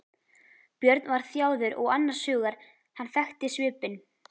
Björn var þjáður og annars hugar, hann þekkti svipinn.